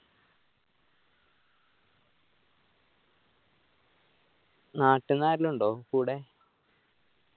നാട്ടിന്ന് ആരേലും ഉണ്ടോ കൂടെ